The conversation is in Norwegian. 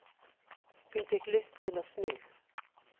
Hun fikk lyst til å snu.